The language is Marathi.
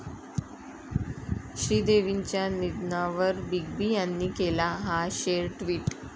श्रीदेवींच्या निधनावर बिग बी यांनी केला 'हा' शेर टि्वट